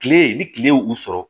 Kile ni kile u sɔrɔ